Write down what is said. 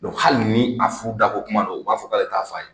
hali ni a fu a da bɔ kuma ro u b'a fɔ k'ale t'a fɔ a ɲɛna.